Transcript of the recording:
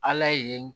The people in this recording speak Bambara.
Ala ye